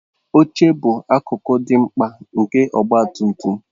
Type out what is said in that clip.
Oche bụ akụkụ dị mkpa nke ọgba tum tum